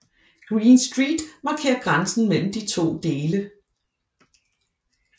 Green Street markerer grænsen mellem de to dele